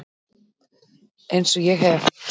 Eins og ég hef